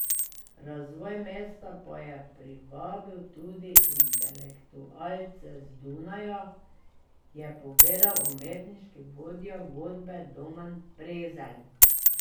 Razvoj mesta pa je privabil tudi intelektualce z Dunaja, je povedal umetniški vodja godbe Domen Prezelj.